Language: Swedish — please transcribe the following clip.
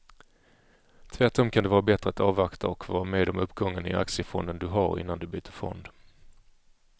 Tvärtom kan det vara bättre att avvakta och få vara med om uppgången i aktiefonden du har innan du byter fond.